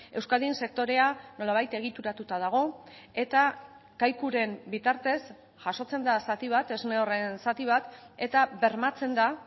euskadin sektorea nolabait egituratuta dago eta kaikuren bitartez jasotzen da zati bat esne horren zati bat eta bermatzen da